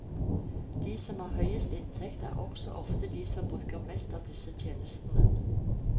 De som har høyest inntekt er også ofte de som bruker mest av disse tjenestene.